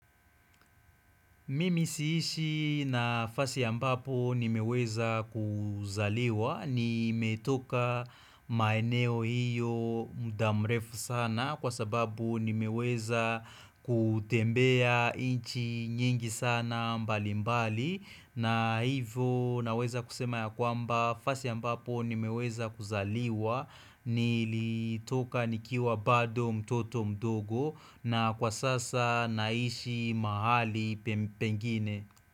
Mimi siishi nafasi ambapo ni meweza kuzaliwa, ni metoka maeneo hiyo muda mrefu sana kwa sababu ni meweza kutembea inchi nyingi sana mbali mbali na hivyo naweza kusema ya kwamba fasi ambapo nimeweza kuzaliwa nilitoka nikiwa bado mtoto mdogo na kwa sasa naishi mahali pe pengine.